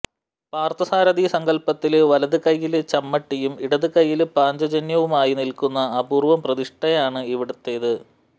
പാര്ത്ഥസാരഥി സങ്കല്പത്തില് വലതുകൈയ്യില് ചമ്മട്ടിയും ഇടതുകൈയ്യില് പാഞ്ചജന്യവുമായി നില്ക്കുന്ന അപൂര്വ്വം പ്രതിഷ്ഠയാണ് ഇവിടുത്തേത്